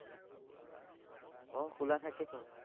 আহ খোলা থাকেচোন।